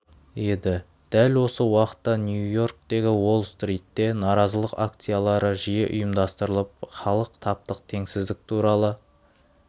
еді дәл осы уақытта нью-йорктегі уолл стритте наразылыық акциялары жиі ұйымдастырылып халық таптық теңсіздік туралы